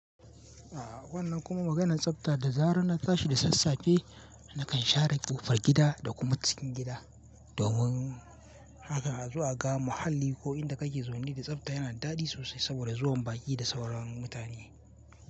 A wannan kuma maganan tsafta da zarar na tashi da sasafe nakan share ƙofar gida da kuma cikin gida. Domin haka zaka ga muhalli ko inda kake zaune da tsafta yana daɗi sosai saboda zuwan baƙi da sauran mutane.